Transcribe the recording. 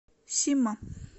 сима